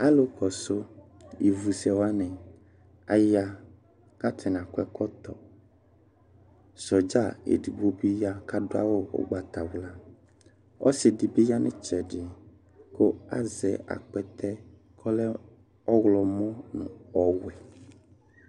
Zlʊ ƙɔsɩ ɩʋʊ sɛ waŋɩ aƴa, kataŋɩ akɔ ɛƙɔtɔ Sɔɖza edigbo bi ƴa ka dɩ awʊ ʊgbatawla Ɔsɩ dibi ƴa ŋʊ ɩtsɛdɩ kʊ azɛ aƙpɛtɛ ƙɔlɛ 9wlɔmɔ ŋʊ ɔwɛ